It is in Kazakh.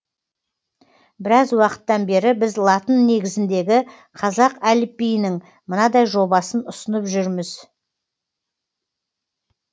біраз уақыттан бері біз латын негізіндегі қазақ әліпбиінің мынадай жобасын ұсынып жүрміз